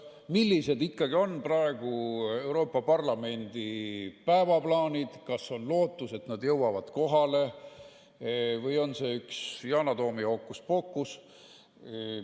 Millised ikkagi on praegu Euroopa Parlamendi päevaplaanid, kas on lootus, et nad jõuavad kohale või on see üks Yana Toomi hookuspookuseid?